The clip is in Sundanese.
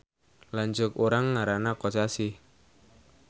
Lanceuk urang ngaranna Kosasih